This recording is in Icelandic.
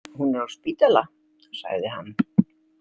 Hún er á spítala, sagði hann.